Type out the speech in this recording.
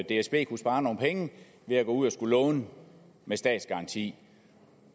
dsb kunne spare nogle penge ved at gå ud og låne med statsgaranti